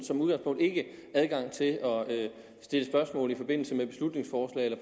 som udgangspunkt ikke adgang til at stille spørgsmål i forbindelse med beslutningsforslag eller